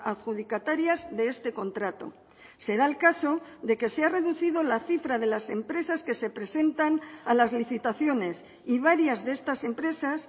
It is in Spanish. adjudicatarias de este contrato se da el caso de que se ha reducido la cifra de las empresas que se presentan a las licitaciones y varias de estas empresas